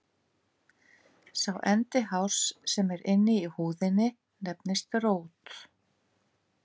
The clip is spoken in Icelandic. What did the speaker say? Sá endi hárs sem er inni í húðinni nefnist rót.